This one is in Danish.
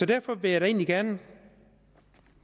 derfor vil jeg egentlig gerne